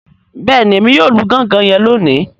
Bẹẹni, Èmí yóò lù gangan yen loni